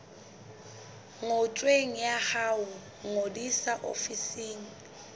ngotsweng ya ho ngodisa ofising